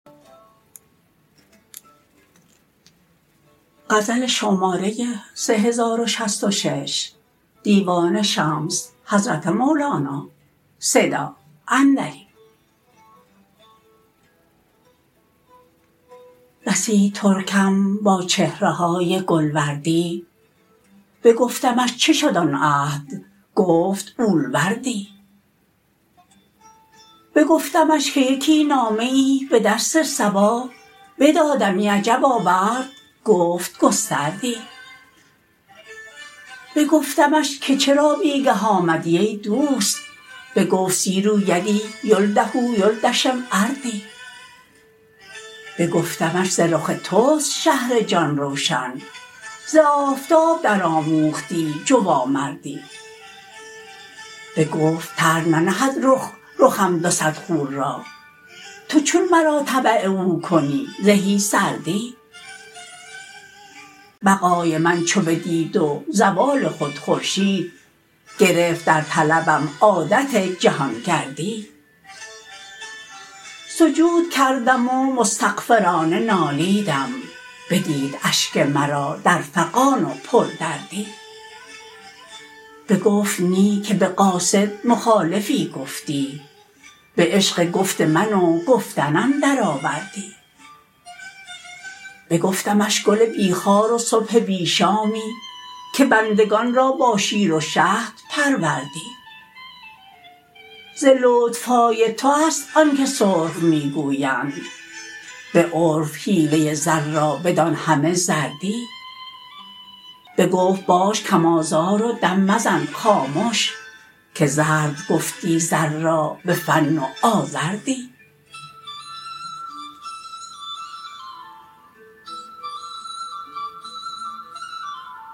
رسید ترکم با چهره های گل وردی بگفتمش چه شد آن عهد گفت اول وردی بگفتمش که یکی نامه ای به دست صبا بدادمی عجب آورد گفت گستردی بگفتمش که چرا بی گه آمدی ای دوست بگفت سیرو یدی یلده یلدشم اردی بگفتمش ز رخ توست شهر جان روشن ز آفتاب درآموختی جوامردی بگفت طرح نهد رخ رخم دو صد خور را تو چون مرا تبع او کنی زهی سردی بقای من چو بدید و زوال خود خورشید گرفت در طلبم عادت جهان گردی سجود کردم و مستغفرانه نالیدم بدید اشک مرا در فغان و پردردی بگفت نی که به قاصد مخالفی گفتی به عشق گفت من و گفتنم درآوردی بگفتمش گل بی خار و صبح بی شامی که بندگان را با شیر و شهد پروردی ز لطف های توست آنک سرخ می گویند به عرف حیله زر را بدان همه زردی بگفت باش کم آزار و دم مزن خامش که زرد گفتی زر را به فن و آزردی